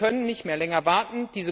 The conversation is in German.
Wir können nicht mehr länger warten.